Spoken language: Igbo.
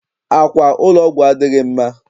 Àkwà ụlọ ọgwụ adịghị mma.